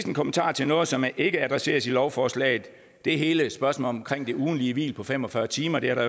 en kommentar til noget som ikke adresseres i lovforslaget det er hele spørgsmålet om det ugentlige hvil på fem og fyrre timer det har der